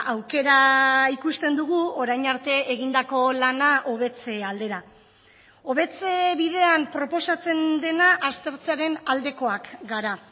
aukera ikusten dugu orain arte egindako lana hobetze aldera hobetze bidean proposatzen dena aztertzearen aldekoak gara